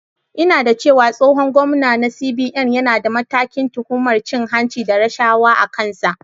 Ina da cewa tsohon gwamnan na CBN yana da matakin tuhumar cin hanci da rashawa a kansa.